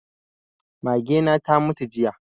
Mage na ta mutu jiya